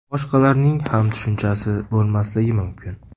Boshqalarning ham tushunchasi bo‘lmasligi mumkin.